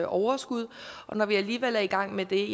overskud og når vi alligevel er i gang med det